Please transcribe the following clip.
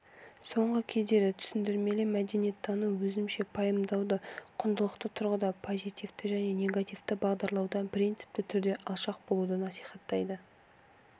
соңғы кездері түсіндірмелі мәдениеттану өзінше пайымдауды құндылықты тұрғыда позитивті және негативті бағалаудан принципті түрде алшақ болуды насихаттайды